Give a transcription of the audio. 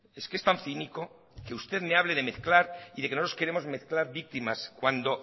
es que es tan cínico que usted me hable de mezclar y de que no queremos mezclar víctimas cuando